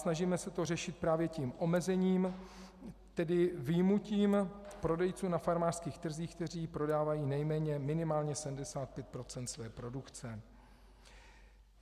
Snažíme se to řešit právě tím omezením, tedy vyjmutím prodejců na farmářských trzích, kteří prodávají nejméně, minimálně 75 % své produkce.